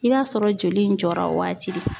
I b'a sɔrɔ joli in jɔra o waati de.